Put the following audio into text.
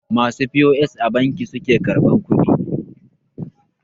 masu p.o.s a banki suke karbar kudi?